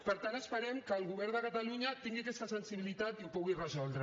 per tant esperem que el govern de catalunya tingui aquesta sensibilitat i ho pugui resoldre